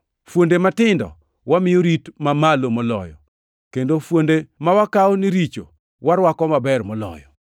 Fuonde matindo wamiyo rit mamalo moloyo, kendo fuonde ma wakawo ni richo warwako maber moloyo.